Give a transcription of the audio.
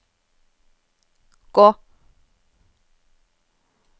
gå